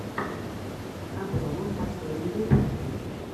обломов последний выпуск